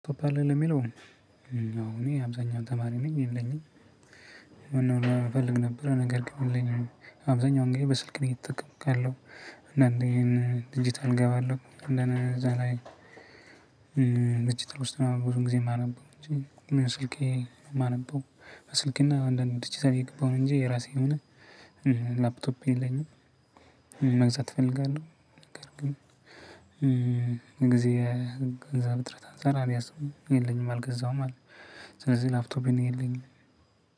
አለህ ለሚለው፣ እኔ አብዛኛውን ተማሪ ነኝ የለኝም። እፈልግ ነበር ነገር ግን የለኝም። አብዛኛውን ጊዜ በስልክ ነው እየተጠቀምኩ ያለሁት እና አንደ ዲጂታል እገባለሁ እደነዛ ላይ ድርጅት ውስጥ ነው ብዙ ጊዜ የማነበው እንጂ ስልኬ የማነበው በስልክ እና አንዳንድ ዲጂታል እየገባሁ ነው እንጂ የራሴ የሆነ ላፕቶፕ የለኝም። መግዛት እፈልጋለሁ ነገር ግን ጊዜ ገንዘብ እጥረት አንሰራ አልያዝኩም። የለኝም አልገዛውም አዎ ስለዚህ ላፕቶፕ እኔ የለኝም።